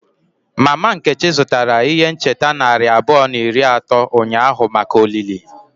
Mama Nkechi zụtara ihe ncheta narị abụọ na iri atọ ụnyahụ maka olili.